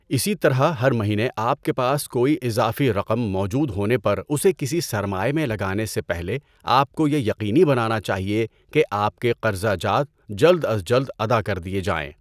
اسی طرح ہر مہینے آپ کے پاس کوئی اضافی رقم موجود ہونے پر اسے کسی سرمائے میں لگانے سے پہلے آپ کو یہ یقینی بنانا چاہیے کہ آپ کے قرضہ جات جلد از جلد ادا کر دیے جائیں۔